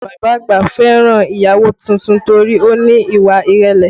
Bàbá àgbà fẹ́ràn ìyàwó tuntun torí ó ní ìwà ìrẹ̀lẹ̀